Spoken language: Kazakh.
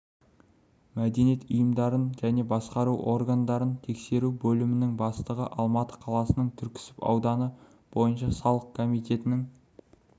мәдениет ұйымдарын және басқару органдарын тексеру бөлімінің бастығы алматы қаласының түрксіб ауданы бойынша салық комитетінің